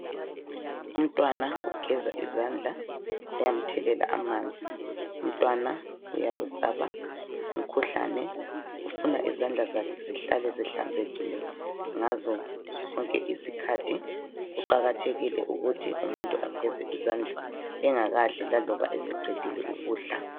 Umntwana ugeza izandla, bayamthelela amanzi, umtwana uyawesaba umkhuhlane ufuna izandla zakhe zihlale zihlanzekile ngazo sonke iskhathi, kuqakathekile ukuthi umuntu ageze izandla engakadli laloba eseqedile ukudla.